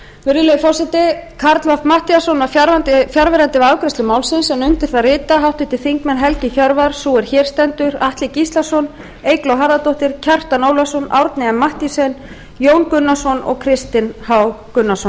virðulegi forseti karl fimmti matthíasson var fjarverandi við afgreiðslu málsins en undir það rita háttvirtir þingmenn helgi hjörvar sú er hér stendur atli gíslason eygló harðardóttir kjartan ólafsson árni m mathiesen jón gunnarsson og kristinn h gunnarsson